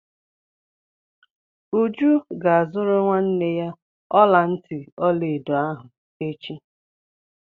Uju ga-azụrụ nwanne ya ọla ntị ọla edo ahụ echi.